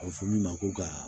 A bɛ fɔ min ma ko ka